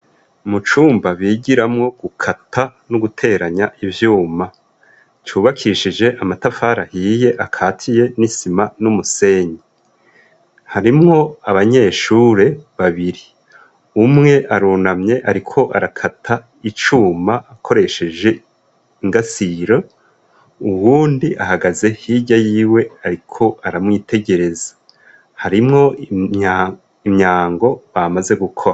Mucumba bigiramwo gukata n'uguteranya ivyuma cubakishije amatafarahiye akatiye n'isima n'umusenyi harimwo abanyeshure babiri umwe arunamye, ariko arakata icuma akoresheje ingasiro uwundi ahagaze hirya yiwe, ariko aramwitegereza harimwo imyango bamaze gukora.